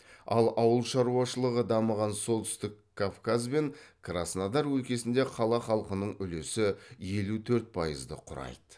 ал ауыл шаруашылығы дамыған солтүстік кавказ бен краснодар өлкесінде қала халқының үлесі елу төрт пайызды құрайды